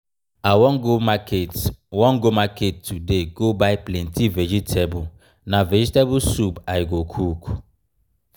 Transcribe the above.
i wan go market wan go market today go buy plenty vegetable. na vegetable soup i go cook.